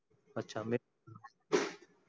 अच्छा